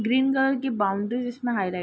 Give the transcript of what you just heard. green colour की boundary जिसमें highlight --